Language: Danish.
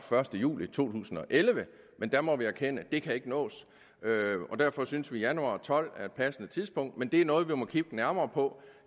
første juli to tusind og elleve men der må vi erkende at ikke kan nås og derfor synes vi at januar og tolv er et passende tidspunkt men det er noget vi må kigge nærmere på